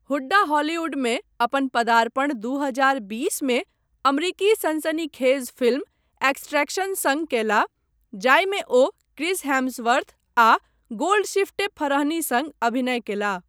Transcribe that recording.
हुड्डा हॉलीवुडमे अपन पदार्पण दू हजार बीस मे अमरिकी सनसनीखेज फिल्म एक्सट्रैक्शन सङ्ग कयलाह, जाहिमे ओ क्रिस हेम्सवर्थ आ गोल्डशिफ्टे फरहनी सङ्ग अभिनय कयलाह।